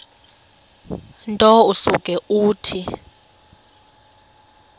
nto usuke uthi